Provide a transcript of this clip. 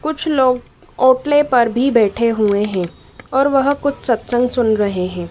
कुछ लोग ओटले पर भी बैठे हुए हैं और वह कुछ सत्संग सुन रहे हैं।